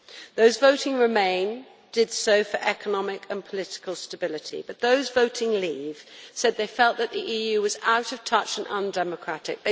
Those voting Remain' did so for economic and political stability, but those voting Leave' said they felt that the EU was out of touch and undemocratic.